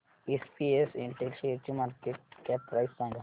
SPS Intel शेअरची market cap price सांगा